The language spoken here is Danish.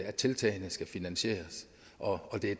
at tiltagene skal finansieres og det